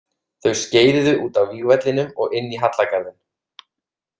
Þau skeiðuðu út af vígvellinum og inn í hallargarðinn.